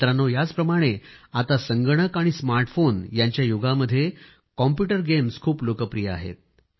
मित्रांनो याचप्रमाणे आता संगणक आणि स्मार्टफोन यांच्या युगामध्ये कॉम्प्यूटर गेम्स खूप लोकप्रिय आहेत